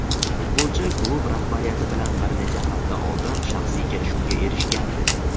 Futbolchi klub rahbariyati bilan bir necha hafta oldin shaxsiy kelishuvga erishgandi.